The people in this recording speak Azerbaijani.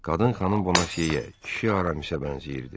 Qadın xanım ona şiyə, kişi aramisə bənzəyirdi.